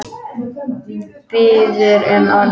Biður um orðið.